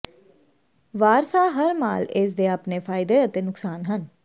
Warsaw ਹਰ ਮਾਲ ਇਸ ਦੇ ਆਪਣੇ ਫ਼ਾਇਦੇ ਅਤੇ ਨੁਕਸਾਨ ਹਨ